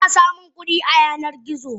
Ana samun kudi a Yanar gizo.